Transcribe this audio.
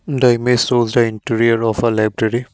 the image shows the interior of a library.